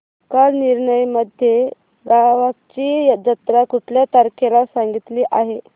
कालनिर्णय मध्ये गावाची जत्रा कुठल्या तारखेला सांगितली आहे